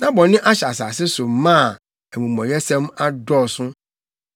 Na bɔne ahyɛ asase so ma a, amumɔyɛsɛm adɔɔso.